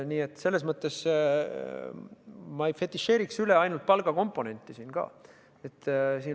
Nii et selles mõttes ma ei fetišeeriks siin palgakomponenti üle.